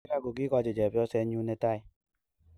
Ira ko gi chepyosenyun netai.